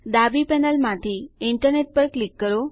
ડાબી પેનલ માંથી ઇન્ટરનેટ પર ક્લિક કરો